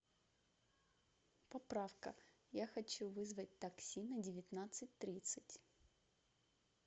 поправка я хочу вызвать такси на девятнадцать тридцать